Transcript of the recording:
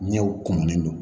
Ɲɛw kumunilen don